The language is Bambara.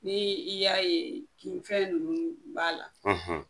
Ni i y'a ye k'i fɛn ninnu b'a la